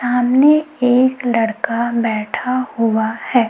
सामने एक लड़का बैठा हुआ है।